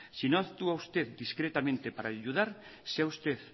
si no actúa usted discretamente para ayudar sea usted